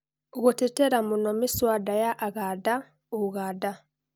Gũtetera mũno mĩswanda ya Aganda ũganda.